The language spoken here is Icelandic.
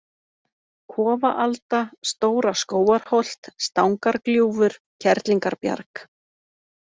Kofaalda, Stóra-Skógarholt, Stangargljúfur, Kerlingarbjarg